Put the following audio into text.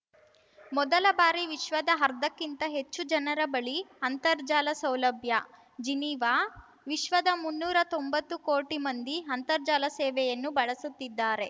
ಮೊದಲ ಬಾರಿ ವಿಶ್ವದ ಅರ್ಧಕ್ಕಿಂತ ಹೆಚ್ಚು ಜನರ ಬಳಿ ಅಂತರ್ಜಾಲ ಸೌಲಭ್ಯ ಜಿನಿವಾ ವಿಶ್ವದ ಮುನ್ನೂರಾ ತೊಂಬತ್ತು ಕೋಟಿ ಮಂದಿ ಆಂತರ್ಜಾಲ ಸೇವೆಯನ್ನು ಬಳಸುತ್ತಿದ್ದಾರೆ